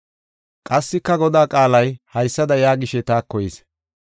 Qassika Godaa qaalay haysada yaagishe taako yis: